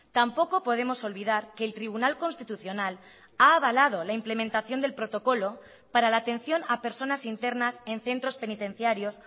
tampoco podemos olvidar que el tribunal constitucional ha avalado la implementación del protocolo para la atención a personas internas en centros penitenciarios